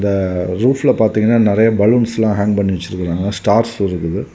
இந்த ரூஃப்ல பாத்தீங்கன்னா நிறைய பலூன்ஸ் ஆங் பண்ணி வச்சிருக்காங்க ஸ்டார்ஸ் எல்லாம் இருக்குது.